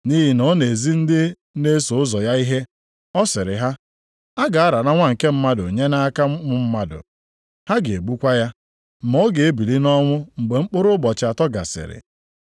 nʼihi na ọ na-ezi ndị na-eso ụzọ ya ihe. Ọ sịrị ha, “A ga-arara Nwa nke Mmadụ nye nʼaka ụmụ mmadụ, ha ga-egbukwa ya ma ọ ga-ebili nʼọnwụ mgbe mkpụrụ ụbọchị atọ gasịrị.”